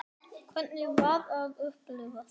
Hvernig var að upplifa það?